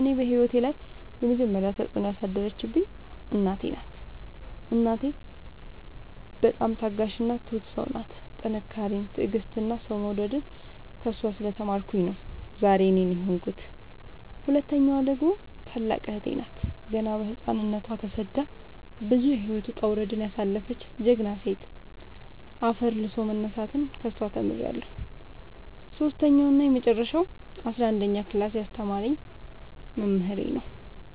እኔ ህይወት ላይ የመጀመሪ ተፅዕኖ ያሳደረችብኝ እናቴ ናት። እናቴ በጣም ታጋሽ እና ትሁት ሰው ናት ጥንካሬን ትዕግስትን እና ሰው መውደድን ከእሷ ስለ ተማርኩኝ ነው ዛሬ እኔን የሆንኩት። ሁለተኛዋ ደግሞ ታላቅ እህቴ ናት ገና በህፃንነቶ ተሰዳ ብዙ የህይወት ወጣውረድ ያሳለፈች ጀግና ሴት አፈር ልሶ መነሳትን ከሷ ተምሬለሁ። ሰሶስተኛው እና የመጀረሻው አስረአንደኛ ክላስ ያስተማረኝ መምህሬ ነው።